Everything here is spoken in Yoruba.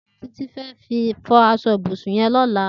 Titi fẹ̀̀ fọ aṣọ ibùsùn yèn lọlá